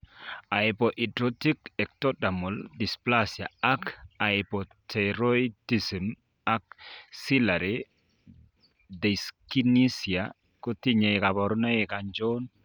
Hypohidrotic ectodermal dysplasia ak hypothyroidism ak ciliary dyskinesia kotinye kaborunoik achon